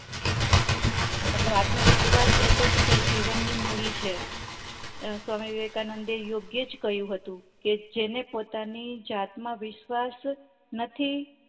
મતલબ આત્મ વિશ્વાસ એતો શું કેવાય જીવન ની મુળી છે અ સ્વામી વિવેકાનંદ એ યોગ્યેજ કહયું હતું કે જેને પોતાની જાત માં વિશ્વાસ નથી